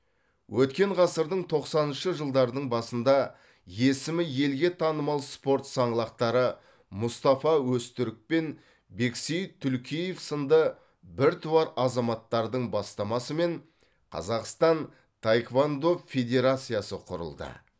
өткен ғасырдың тоқсаныншы жылдарының басында есімі елге танымал спорт саңлақтары мұстафа өзтүрік пен бексейіт түлкиев сынды біртуар азаматтардың бастамасымен қазақстан таеквондо федерациясы құрылды